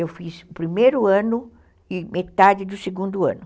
Eu fiz o primeiro ano e metade do segundo ano.